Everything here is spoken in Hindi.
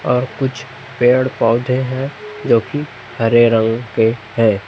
और कुछ पेड़ पौधे हैं जो कि हरे रंग के है।